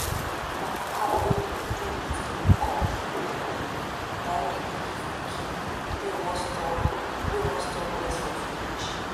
na pap wey dey do with guinea corn and kulikuli na im dey give pikin wey won stop wey won stop breast for village